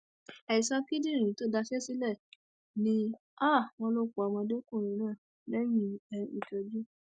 àìsàn kíndìnrín tó daṣẹ sílẹ ni um wọn lọ pa ọdọmọkùnrin náà lẹyìn um ìtọjú